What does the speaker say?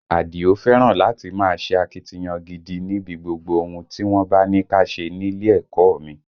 Àdìó fẹ́ràn láti máa ṣe akitiyan gidi níbi gbogbo ohun tí wọ́n bá ní ká ṣe nílé ẹ̀kọ́ ọ mi